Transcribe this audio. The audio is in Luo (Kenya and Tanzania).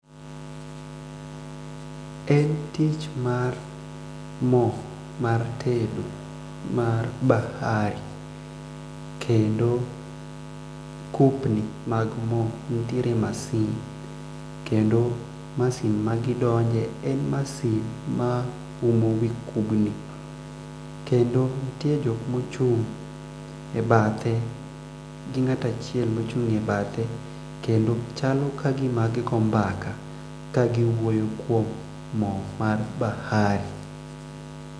En tich mar moo mar tedo mar bahari kendo kupni mag moo kedo masin ma gidonje en masin ma umo wii kubni kendo nitie jokmochung' e bathe gi ngatachiel mochung' e bathe kendo chalo ka gima gi goo mbaka kagiwuoyo kuom moo mar bahari.